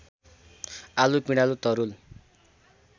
आलु पिँडालु तरुल